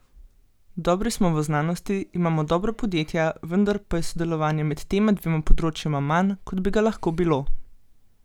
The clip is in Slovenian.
Dobri smo v znanosti, imamo dobra podjetja, vendar pa je sodelovanja med tema dvema področjema manj, kot bi ga lahko bilo.